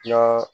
Na